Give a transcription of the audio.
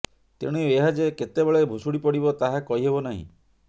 ତେଣୁ ଏହା ଯେ କେତେବେଳେ ଭୁଶୁଡ଼ି ପଡ଼ିବ ତାହା କହିହେବ ନାହିଁ